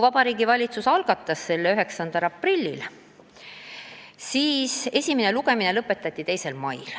Vabariigi Valitsus algatas selle eelnõu 9. aprillil, esimene lugemine lõpetati 2. mail.